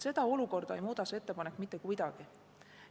Seda olukorda ei muuda see ettepanek mitte kuidagi.